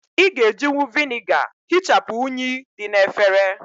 Ị́ ga ejinwu Vị́nịga hịchapu unyi dị na efere